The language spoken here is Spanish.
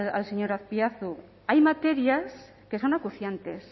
al señor azpiazu hay materias que son acuciantes